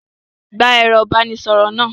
Gba ẹ̀rọ-ìbánisọ̀rọ̀ náà!